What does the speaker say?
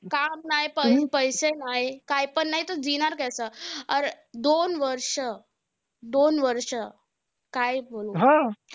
काम नाय पैसे नाय कायपण नाय तर कसं? दोन वर्ष. दोन वर्ष काय बोलू?